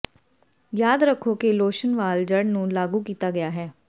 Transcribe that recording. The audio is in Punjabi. ਯਾਦ ਰੱਖੋ ਕਿ ਲੋਸ਼ਨ ਵਾਲ ਜੜ੍ਹ ਨੂੰ ਲਾਗੂ ਕੀਤਾ ਗਿਆ ਹੈ